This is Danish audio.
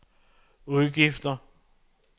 udgifter